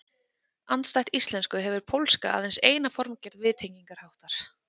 Andstætt íslensku hefur pólska aðeins eina formgerð viðtengingarháttar.